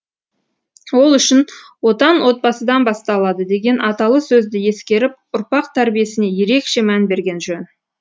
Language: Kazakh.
ол үшін отан отбасыдан басталады деген аталы сөзді ескеріп ұрпақ тәрбиесіне ерекше мән берген жөн